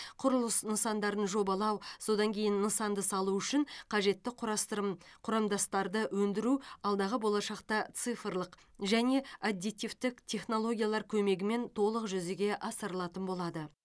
құрылыс нысандарын жобалау содан кейін нысанды салу үшін қажетті құрастырым құрамдастарды өндіру алдағы болашақта цифрлық және аддитивтік технологиялар көмегімен толық жүзеге асырылатын болады